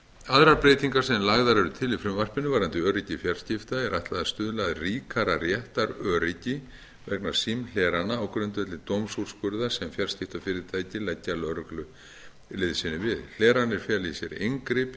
aðrar breytingar sem lagðar eru til í frumvarpinu varðandi öryggi fjarskipta er ætlað að stuðla að ríkara réttaröryggi vegna símhlerana á grundvelli dómsúrskurða sem fjarskiptafyrirtæki leggja lögreglu liðsinni við hleranir fela í sér inngrip í